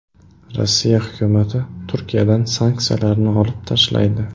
Rossiya hukumati Turkiyadan sanksiyalarni olib tashlaydi .